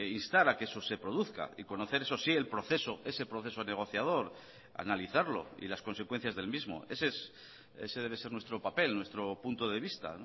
instar a que eso se produzca y conocer eso sí el proceso ese proceso negociador analizarlo y las consecuencias del mismo ese debe ser nuestro papel nuestro punto de vista